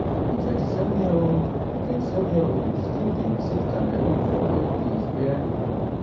di 27yearold di 27yearold still dey visit cameroon for holidays wia